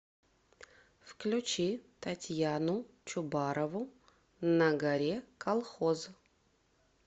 включи татьяну чубарову на горе колхоз